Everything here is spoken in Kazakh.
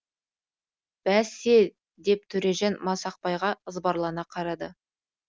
бәсе деп дөржан масақбайға ызбарлана қарады